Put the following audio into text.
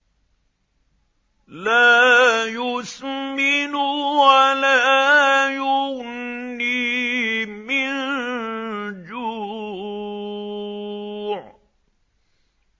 لَّا يُسْمِنُ وَلَا يُغْنِي مِن جُوعٍ